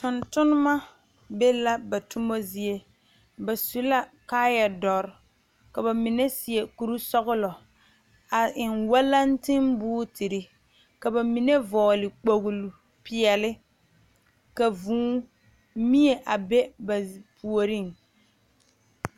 Tontonma be la ba toma zie ba su la kaayadɔre ka ba mine seɛ kurisɔglɔ a eŋ wɛlɛŋtiŋ buutiri ka ba mine vɔgle kpogli peɛlle ka vuu mie a be ba puoriŋ.